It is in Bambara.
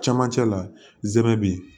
Cɛmancɛ la zɛmɛ be yen